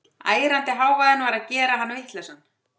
Ærandi hávaðinn var að gera hann vitlausan.